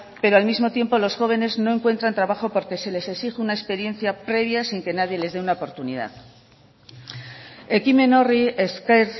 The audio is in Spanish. pero al mismo tiempo los jóvenes no encuentran trabajo porque se les exige una experiencia previa sin que nadie les dé una oportunidad ekimen horri esker